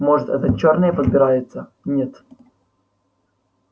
может это чёрные подбираются нет